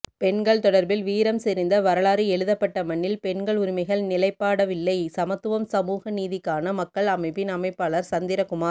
பெண்கள் தொடர்பில் வீரம்செறிந்த வரலாறு எழுதப்பட்ட மண்ணில் பெண்கள் உரிமைகள் நிலைப்பாடவில்லை சமத்துவம் சமூகநீதிகான மக்கள் அமைப்பின் அமைப்பாளர் சந்திரகுமார்